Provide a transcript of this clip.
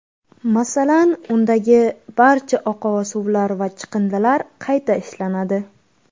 Masalan, undagi barcha oqova suvlar va chiqindilar qayta ishlanadi.